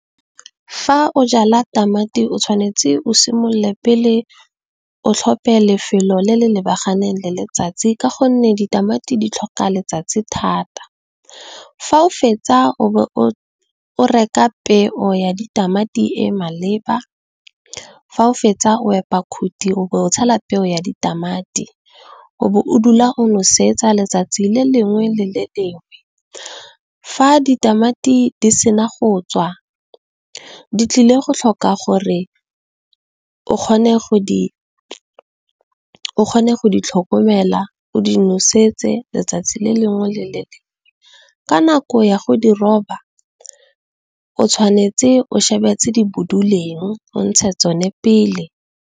Fa o jala tamati o tshwanetse o simolola pele o tlhope lefelo le le lebaganeng le letsatsi ka gonne, ditamati di tlhoka letsatsi thata, fa o fetsa o be o reka peo ya ditamati e maleba, fa o fetsa o epa khuthi o be o tshela peo ya ditamati, o be o dula o nosetsa letsatsi le lengwe le le lengwe. Fa ditamati di sena go tswa di tlile go tlhoka gore o kgone go di tlhokomela, o di nosetse letsatsi le lengwe le lengwe, ka nako ya go di roba o tshwanetse o shebe tse di boduleng o ntshe tsone pele.